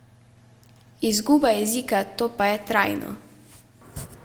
Izguba jezika, to pa je trajno!